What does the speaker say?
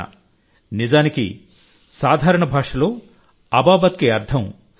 నిజానికి సాధారణ భాషలో అబాబత్ కి అర్థం సహకారం